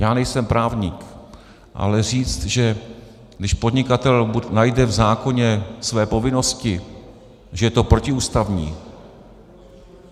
Já nejsem právník, ale říct, že když podnikatel najde v zákoně své povinnosti, že je to protiústavní...